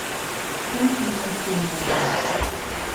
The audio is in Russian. пункт назначения два